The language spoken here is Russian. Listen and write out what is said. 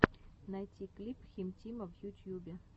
найти клип хим тима в ютьюбе